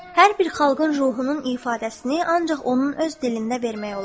Hər bir xalqın ruhunun ifadəsini ancaq onun öz dilində vermək olar.